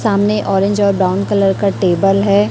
सामने ऑरेंज और brown colour का टेबल है।